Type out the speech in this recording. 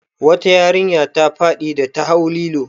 Wata yarinya ta faɗi da ta hau lilo.